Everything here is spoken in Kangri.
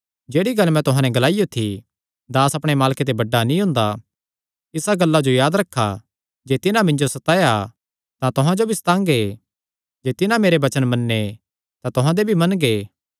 जेह्ड़ी गल्ल मैं तुहां नैं ग्लाईयो थी दास अपणे मालके ते बड्डा नीं हुंदा इसा गल्ला जो याद रखा जे तिन्हां मिन्जो सताया तां तुहां जो भी सतांगे जे तिन्हां मेरे वचन मन्ने तां तुहां दे भी मनगे